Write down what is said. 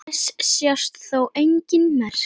Þess sjást þó engin merki.